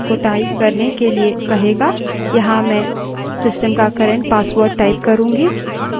जब आप इस command को type करते हैं वर्त्तमान password को type करने के लिए कहेगा